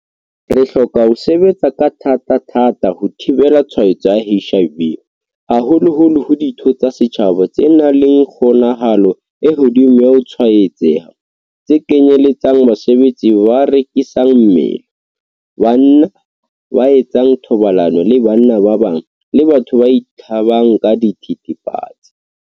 Re hloka ho sebetsa ka thatathata ho thibela tshwaetso ya HIV haholoholo ho ditho tsa setjhaba tse nang le kgonahalo e hodimo ya ho tshwaetseha, tse kenyeletsang basebetsi ba rekisang mmele, banna ba etsang thobalano le banna ba bang, le batho ba itlhabang ka dithethefatsi.